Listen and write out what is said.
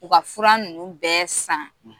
U ka fura ninnu bɛ san